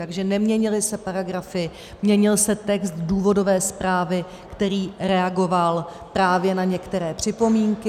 Takže neměnily se paragrafy, měnil se text důvodové zprávy, který reagoval právě na některé připomínky.